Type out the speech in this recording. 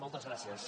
moltes gràcies